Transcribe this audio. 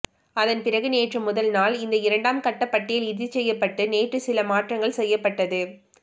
அதன்பிறகு நேற்று முதல்நாள் இந்த இரண்டாம் கட்ட பட்டியல் இறுதி செய்யப்பட்டு நேற்று சில மாற்றங்கள் செய்யப்பட்டது